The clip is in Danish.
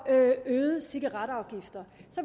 af øgede cigaretafgifter